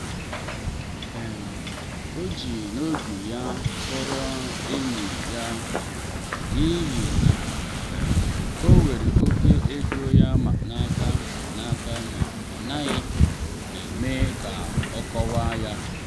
um ọ ji n’obi ya kpọrọ enyi ya um n’ihi na um o were oke ego ya n’aka n’aka ma ọ naghị-eme ka ọ kọwaa ya.